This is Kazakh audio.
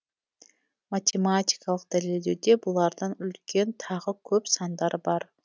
математикалық дәлелдеуде бұлардан үлкен тағы көп сандар бар